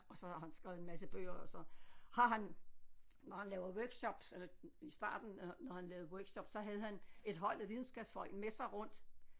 Og så har han skrevet en masse bøger og så har han når han laver workshops eller i starten når når han lavede workshops så havde han et hold af videnskabsfolk med sig rundt